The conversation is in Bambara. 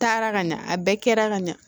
Taara ka ɲa a bɛɛ kɛra ka ɲa